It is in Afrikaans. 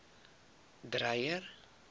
dreyer